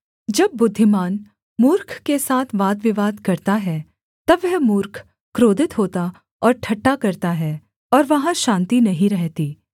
जब बुद्धिमान मूर्ख के साथ वादविवाद करता है तब वह मूर्ख क्रोधित होता और ठट्ठा करता है और वहाँ शान्ति नहीं रहती